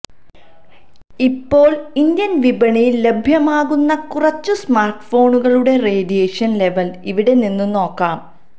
ഇപ്പോൾ ഇന്ത്യൻ വിപണിയിൽ ലഭ്യമാകുന്ന കുറച്ചു സ്മാർട്ട് ഫോണുകളുടെ റേഡിയേഷൻ ലെവൽ ഇവിടെ നിന്നും നോക്കാം